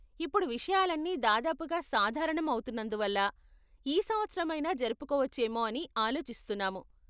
ఇప్పుడు విషయాలన్నీ దాదాపుగా సాధారణం అవుతున్నందువల్ల, ఈ సంవత్సరమైనా జరుపుకోవచ్చేమో అని ఆలోచిస్తున్నాము.